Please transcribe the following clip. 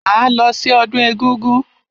Máa lọ sí ọdún egúngún.